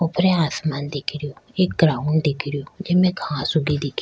ऊपर आसमान दिख रो एक ग्राउंड दिख रो जिमे घास उगे दिख री।